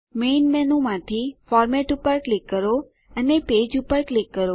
main મેનૂમાંથી format પર click કરો અને પેજ પર ક્લિક કરો